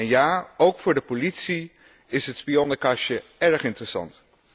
En ja, ook voor de politie is het spionnenkastje erg interessant.